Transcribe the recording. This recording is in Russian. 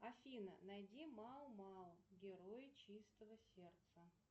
афина найди мау мау герои чистого сердца